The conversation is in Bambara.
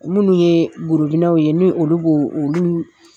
Munnu ye gorobinaw ye ni olu b'o olu